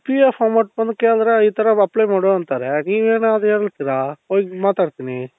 P.F amount ಬಂದು ಕೇಳುದ್ರೆ ಈ ತರ apply ಮಾಡು ಅಂತಾರೆ ನೀವು ಏನೋ ಅದು ಹೇಳ್ತಿರ ಹೋಗಿ ಮಾತಾಡ್ತೀನಿ.